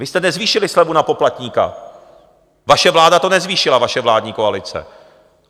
Vy jste nezvýšili slevu na poplatníka, vaše vláda to nezvýšila, vaše vládní koalice.